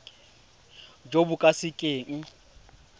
jo bo ka se keng